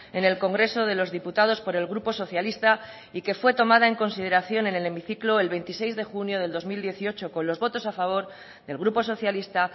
en el congreso de los diputados por el grupo socialista y que fue tomada en consideración en el hemiciclo el veintiséis de junio del dos mil dieciocho con los votos a favor del grupo socialista